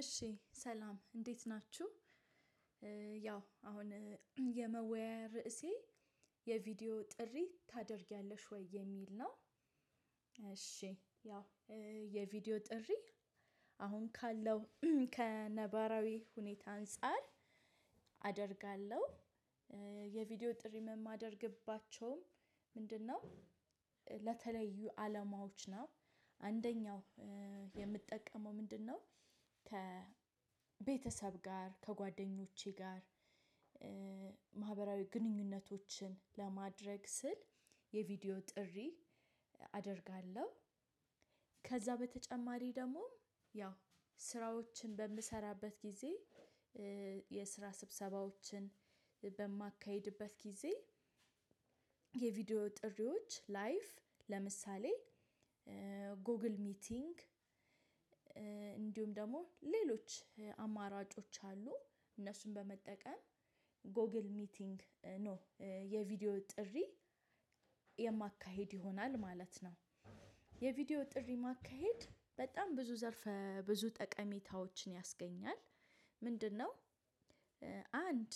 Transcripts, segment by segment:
እሺ ሰላም እንዴት ናችሁ። ያው አሁን የመወያያ ርዕሴ የቪዲዮ ጥሪ ታደርጊያለሽ ወይ የሚል ነው? እሺ ያው የቪዲዮ ጥሪ አሁን ካለው ከነባራዊ ሁኔታ አንፃር አደርጋለሁ። የቪዲዮ ጥሪም የማደርግባቸውም ምንድነው? አለማዎች ናቸው። አንደኛው የምጠቀመው ምንድነው? ከቤተሰብ ጋር ከጓደኞቼ ጋር። ማህበራዊ ግንኙነቶችን ለማድረግ ስል የቪዲዮ ጥሪ አደርጋለሁ። ከዛ በተጨማሪ ደግሞ ያው ስራዎችን በምሰራበት ጊዜ የስራ ስብሰባዎችን በማካሂድበት ጊዜ። የቪዲዮ ጥሪዎች ላይፍ ለምሳሌ ጎግል ሚቲንግ። እንዲሁም ደግሞ ሌሎች አማራጮች አሉ እነሱን በመጠቀም ጎግል ሚቲንግ ነው። የቪዲዮ ጥሪ የማካሄድ ይሆናል ማለት ነው። የቪዲዮ ጥሪ ማካሄድ በጣም ብዙ ዘርፈ ብዙ ጠቀሜታዎችን ያስገኛል። ምንድነው? አንድ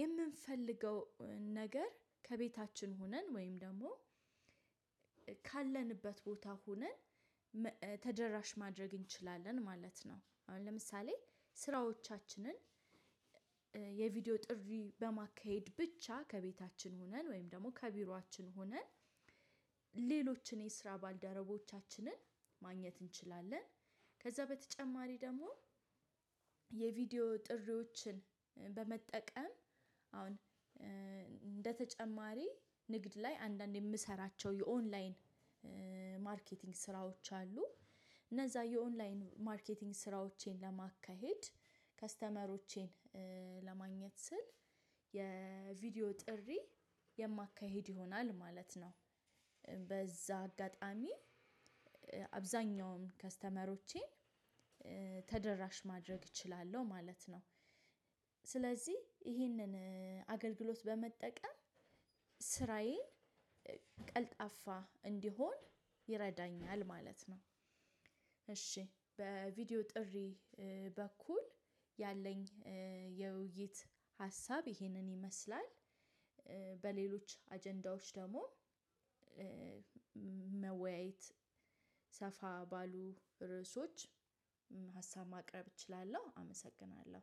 የምንፈልገው ነገር ከቤታችን ሆነን ወይም ደግሞ ካለንበት ቦታ ሆነን ተደራሽ ማድረግ እንችላለን ማለት ነው። አሁን ለምሳሌ ስራዎቻችንን የቪዲዮ ጥሪ በማካሄድ ብቻ ከቤታችን ሆነን ወይም ደግሞ ከቢሮአችን ሆነን ሌሎችን የስራ ባልደረቦቻችንን ማግኘት እንችላለን። ከዛ በተጨማሪ ደግሞ የቪዲዮ ጥሪዎችን በመጠቀም አሁን እንደተጨማሪ ንግድ ላይ አንዳንዴ የምሰራቸው የኦንላይን ማርኬቲንግ ስራዎች አሉ። እነዛ የኦንላይን ማርኬቲንግ ስራዎቼን ለማካሄድ ከስተመሮቼን ለማግኘት ስል የቪዲዮ ጥሪ የማካሄድ ይሆናል ማለት ነው። በዛ አጋጣሚ አብዛኛውን ከስተመሮቼን ተደራሽ ማድረግ እችላለሁ ማለት ነው። ስለዚህ ይህንን አገልግሎት በመጠቀም ስራዬ ቀልጣፋ እንዲሆን ይረዳኛል ማለት ነው። እሺ በቪዲዮ ጥሪ በኩል ያለኝ የውይይት ሀሳብ ይሄንን ይመስላል። በሌሎች አጀንዳዎች ደግሞ መወያየት ሰፋ ባሉ ርዕሶች ሀሳብ ማቅረብ እችላለሁ አመሰግናለሁ